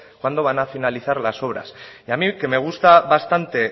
cuándo van a finalizar las obras y a mí que me gusta bastante